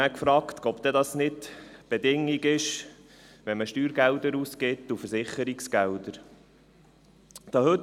» Ich habe mich nachher gefragt, ob das nicht die Bedingung ist, wenn man Steuergelder und Versicherungsgelder ausgibt.